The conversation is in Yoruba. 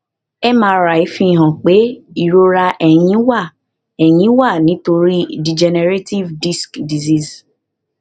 mri fihàn pé ìrora ẹ̀yìn wà ẹ̀yìn wà nítorí degenerative disc disease